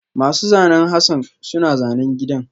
Masu zanen Hassan suna zanen gidan